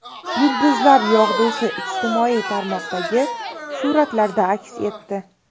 Yulduzlar yog‘dusi ijtimoiy tarmoqlardagi suratlarda aks etdi .